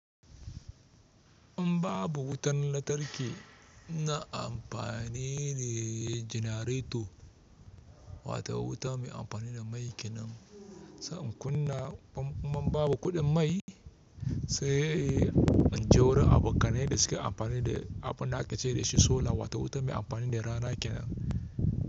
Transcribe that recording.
In babu wutan lantarki na amfani da janareto wato wuta mai amfani da mai kenan. Sai in kuna kuma in babu kuɗin mai sai in jaurar abokanai da suke amfani da abunda aka ce dashi sola wato wuta mai amfani da rana kenan.